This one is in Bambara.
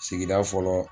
Sigida fɔlɔ